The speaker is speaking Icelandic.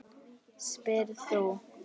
spyrð þú.